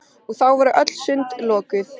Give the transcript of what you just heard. Og þá voru öll sund lokuð!